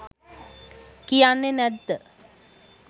කියන්නෙ නැත්ද?